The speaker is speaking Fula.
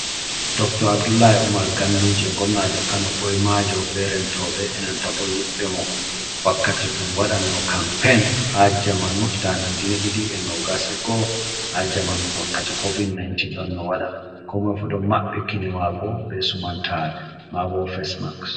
Dr Abdulahi Umar ganduje gomnajo kano ɓoi majo be rentobe enanta bo yiɓbe mo, wakkati ɗum wadan no kampain ha jamanu 2021k ha jamanu wakkati covid-19 ɗon no wada, ko moifu ɗon mabɓi kine mako be sumantare mabo face marks.